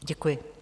Děkuji.